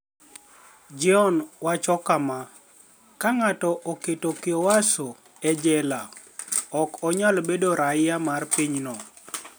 Jeoni wacho kama: "Ka nig'ato oket kyohwaso [e jela], ok oniyal bedo raia mar piny no.